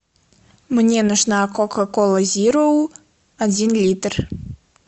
мне нужна кока кола зеро один литр